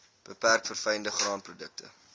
beperk verfynde graanprodukte